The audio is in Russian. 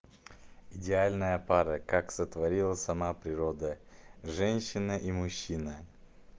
идеальная пара как сотворила сама природа женщина и мужчина